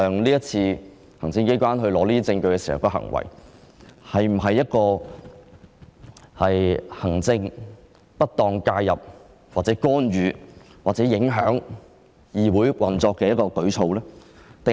這次行政機關取得這些證據的行為是否行政上的不當介入、會否干預或影響議會的運作？